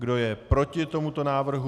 Kdo je proti tomuto návrhu?